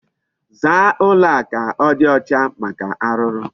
Zaa ụlọ a ka ọ dị ọcha maka arụrụ.